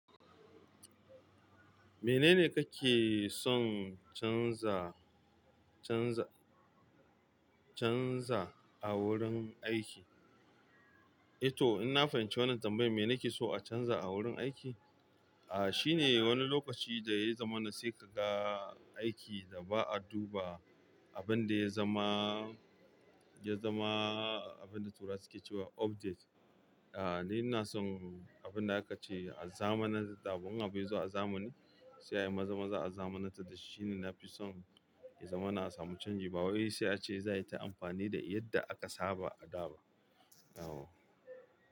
Menene kake son canza, canza, canza a wurin aiki? I to, in na fahimci wannan tambayar, me nake so a canza a wurin aiki? Ah, shine wani lokaci da ya zama na sai ka ga aiki da ba a duba abun da ya zama, ya zama abin da Turawa su ke cewa update. Ah, ni ina son abun da aka ce, a zamanantar da abu, in abu yazo a zamani sai ayi maza-maza a zamanantar da shi, shine na fi son ya zama na a samu canji. Ba wai sai a ce za a yi ta amfani da yadda aka saba a da ba. Yawwa.